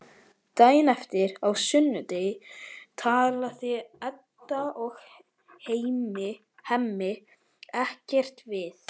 Daginn eftir, á sunnudegi, talast Edda og Hemmi ekkert við.